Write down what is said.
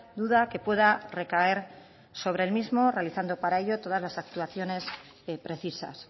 duda que pueda recaer sobre el mismo realizando para ello todas las actuaciones precisas